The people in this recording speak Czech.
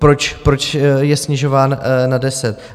Proč je snižován na deset.